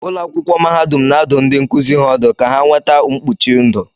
Ụlọ akwụkwọ mahadum na-adụ ndị nkuzi ha ọdụ ka ha nweta mkpuchi ndụ